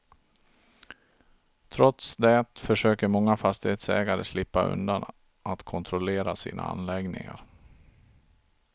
Trots det försöker många fastighetsägare slippa undan att kontrollera sina anläggningar.